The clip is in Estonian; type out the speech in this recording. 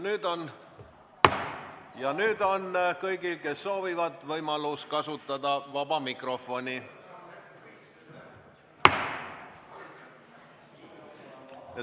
Nüüd on kõigil, kes soovivad, võimalus kasutada vaba mikrofoni.